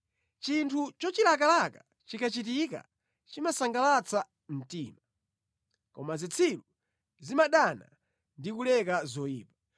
Chinthu chochilakalaka chikachitika chimasangalatsa mtima, koma zitsiru zimadana ndi kuleka zoyipa.